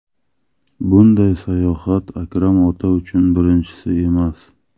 Bunday sayohat Akram ota uchun birinchisi emas.